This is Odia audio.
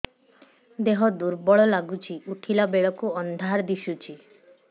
ଦେହ ଦୁର୍ବଳ ଲାଗୁଛି ଉଠିଲା ବେଳକୁ ଅନ୍ଧାର ଦିଶୁଚି